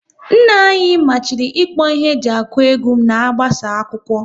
Nna anyị machiri ikpo ihe e ji akụ egwu na-agbasa akwụkwọ